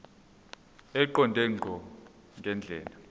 eqonde ngqo ngendlela